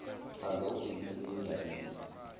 chaza ubhekise endabeni